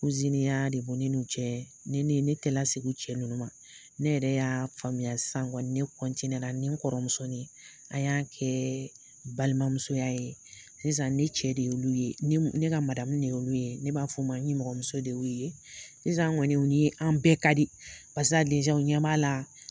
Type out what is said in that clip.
Ya de bon cɛ ne tɛ segu cɛ ninnu ma ne yɛrɛ y'a faamuya ne kɔntɛna ni kɔrɔmusosonin a y'an kɛ balimamusoya ye sisan ne cɛ de y' ye ne ka mamu y' ye ne b'a fɔ ma ni mɔgɔmɔgɔmuso de y' ye sisan kɔniw ye an bɛɛ ka di pa ɲɛ la